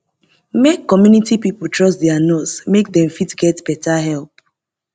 make community pipo trust their nurse make dem fit get better help